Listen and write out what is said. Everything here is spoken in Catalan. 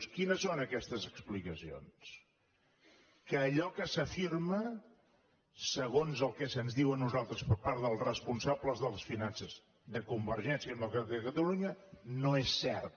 quines són aquestes explicacions que allò que s’afir·ma segons el que se’ns diu a nosaltres per part dels responsables de les finances de convergència demo·cràtica de catalunya no és cert